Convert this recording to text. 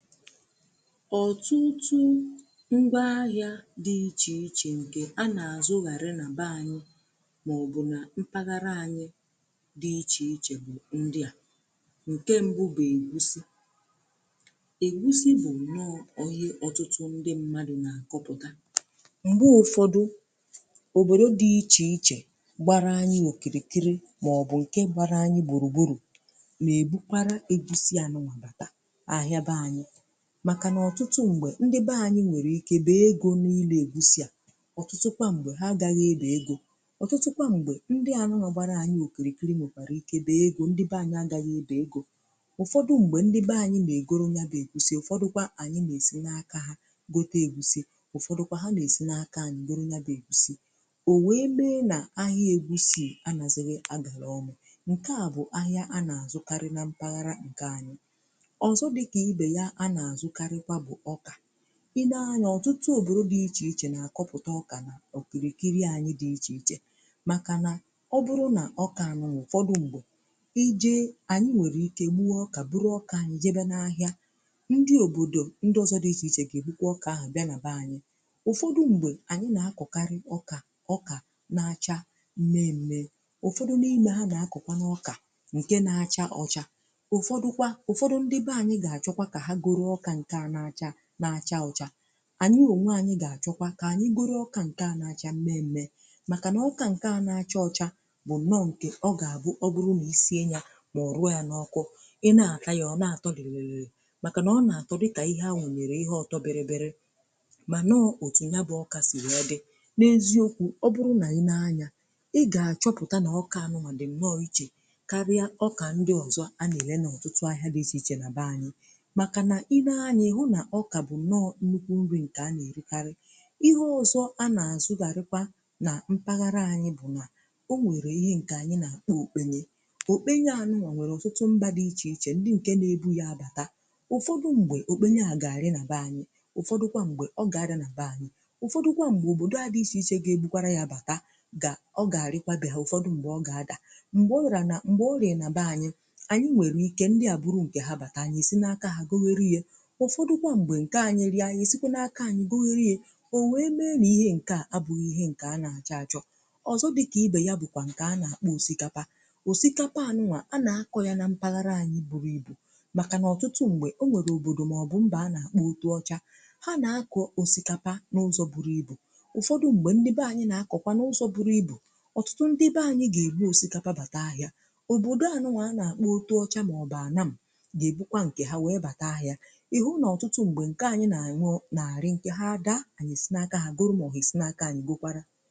Otụtụ ngwa ahịa dị iche iche nke a na-azụ ghara nà baa anyị̀ mọ̀bụ̀ na mpaghara anyị̀ dị iche ichè bụ̀ ndị à nke, mbụ bụ̀ egusi egusi bụ̀ nọọ̀ ọhịa ọtụtụ ndị mmadụ̀ na-akụpụtà m̀gbe ụfọdụ̀ obodo dị iche ichè gbara anyị̀ nwokirikiri mọ̀bụ̀ nke gbara anyị̀ gburugburù ma ebukwara egusi anụwà bàta maka nà ọtụtụ ṁgbè ndị be anyị nwere ike bè egȯ niilė egwu si à. Otụtụkwa ṁgbè ha agaghị ebè egȯ ọtụtụkwa ṁgbè ndị anụ nọ̀gbara anyị okìrikìri mòkpara ike bè egȯ ndị be anyị agaghị ebè egȯ ụfọdụ ṁgbè ndị be anyị nà-egoro ya bè egwu si̇ ụfọdụkwa ànyị nà-èsi n’aka ha gote egwu si̇ ụfọdụkwa ha nà-èsi n’aka anyị goro ya bè egwu si̇ ò wee bè nà ahịa egwu si̇ anazighi agàra ọmù nke à bụ̀ ahịa a nà-àzụkarị na mpaghara ǹkè anyị i nee anya ọtụtụ òbòro dị iche iche na-akọpụta ọkà na okirikiri anyị dị iche iche makà na ọ bụrụ̀ nà ọkà anụ n’ụfọdụ̀ m̀gbè ije anyị nwere ike gbuo ọkà buru ọkà anyị jebe n’ahịà ndị òbòdò ndị ọzọ dị iche iche ga-ebukwa ọkà ahụ̀ bịà na beanyị̀ ụfọdụ m̀gbè anyị na-akọkarị ọkà ọkà na-achaa na-eme ụfọdụ̀ n’ime ha na-akọkwa n’ọkà nke na-achaa ọcha na-acha ọcha anyị ònwe ànyị gà-àchọkwa kà anyị gọrọ ọkà nke à na-acha mee mme màkà nà ọkà nke à na-acha ọcha bụ nọ nke ọ gà-àbụ ọ bụrụ na isiye nya màọ̀bụ ya n’ọkụ i na-ata ya ọ̀ na-àtọ dịlịlị màkà nà ọ nà-àtọ dịtà ihe anọ̀nyèrè ihe ọtọ bịrịbịrị manọọ. Otù nya bụ ọkà sì ị na-ọdị na-eziokwu ọ bụrụ nà i na-anya ị gà-àchọpụta nà ọkà anụmà dị m n’ọ ichè karịa ọkà ndị ọzọ a nà-èle n’ọtụtụ ahịa dị iche iche na baa, anyị ha nà-ahụ̀ bụ̀ n’ọkà bụ̀ nọọ̇ ndukwù nri̇ nke anà erikarị ihe ọzọ̀ a nà-azụ̀ gàrịkwà nà mpaghara anyị̇ bụ̀ nà o nwèrè ihe nke anyị̇ nà okbenye okbenye ànụlọ̀ nwèrè ụ̀fọdụ mbà dị ichè ichè ndị nke nà-ebù yà bàtà ụ̀fọdụ ṁgbè okbenye à gàrị nà beanyị̀ ụ̀fọdụkwà m̀gbè ọ gà adị nà beanyị̀ ụ̀fọdụkwà m̀gbè òbòdò adị ichè ichè gà ebukwara yà bàta gà ọ gàrịkwà bịà ụ̀fọdụ ṁgbè ọ gà adà m̀gbè orìarà nà m̀gbè ọ rị̀à nà beanyị̀ anyị nwèrè ike ndị à bụrụ̀ nkè ha bàtà anyị̀ si n’aka ha gò werù ihe ụfọdụ kwa m̀gbè nke anyịrịà anyị̀ sikwà n’aka anyị̀ gụ iriè o wee mee nà ihe nke à abụghị̀ ihe nke a na-achọ̀ achọ̀ ọzọ̀ dịkà ibe yà bụ̀kwà nke a na-akpọ̀, osikapà, osikapà anụnwà a na-akọ̀ yà na mpalara anyị̀ buru ibù makà n’ọtụtụ m̀gbè o nwere òbodò maọ̀bụ̀ mba a na-akpọ̀ otuọchà ha na-akọ̀ osikapà n’ụzọ̀ buru ibù ụfọdụ̀ m̀gbè ndị bè anyị̀. Na-akọ̀kwà n’ụzọ̀ buru ibù ọtụtụ ndị bè anyị̀ ga-èbu osikapà bàtà ahịà òbodò anụnwà a na-akpọ̀ otuọchà maọ̀bụ̀ anà m̀ ga-èbụkwa, nkè ha wee bata ahịà ha dàà anyị̀ esinàkà ha gụrụ̀ m ọhị̀ esinàkà ànyị̀ gokwàrà.